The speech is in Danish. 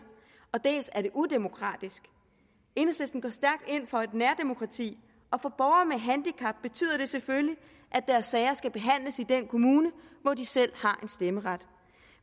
dels er det udemokratisk enhedslisten går stærkt ind for et nærdemokrati og for borgere med handicap betyder det selvfølgelig at deres sager skal behandles i den kommune hvor de selv har stemmeret